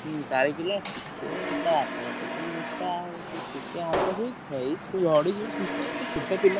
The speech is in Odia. ଚାରିକିଲ ଟିକେ ତା ବାପା ଟିକେ ମୋଟା ସିଏ ଟିକେ ହାଲକା ହଁ ସେଇ ଝଡିଯିବ ସୁସ୍ଥ ଛୋଟ ପିଲା।